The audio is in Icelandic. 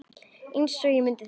Einsog ég muni það ekki!